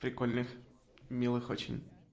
прикольных милых очень